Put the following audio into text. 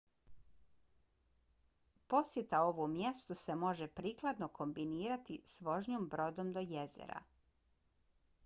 posjeta ovom mjestu se može prikladno kombinirati s vožnjom brodom do jezera